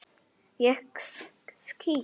Ég skýt!